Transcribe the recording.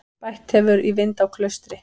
Bætt hefur í vind á Klaustri